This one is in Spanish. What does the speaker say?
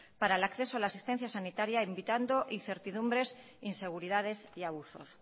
para el acceso a la asistencia sanitaria invitando incertidumbres inseguridades y abusos